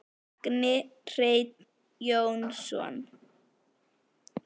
Magni Hreinn Jónsson